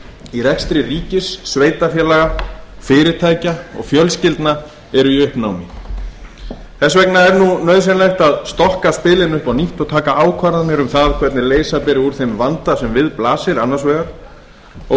í rekstri ríkis sveitarfélaga fyrirtækja og fjölskyldna eru í uppnámi þess vegna er nauðsynlegt að stokka spilin upp á nýtt og taka ákvarðanir um það hvernig leysa beri úr þeim vanda sem við blasir annars vegar og